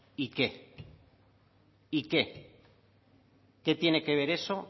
y qué y qué qué tiene que ver eso